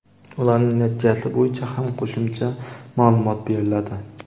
ularning natijasi bo‘yicha ham qo‘shimcha maʼlumot beriladi.